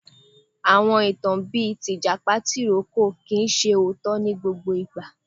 Àwọn ìtàn bíi tìjàpá tìrókò kìí ṣe òótọ́ ní gbogbo ìgbà.